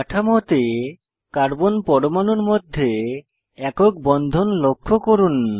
কাঠামোতে কার্বন পরমাণুর মধ্যে একক বন্ধন লক্ষ্য করুন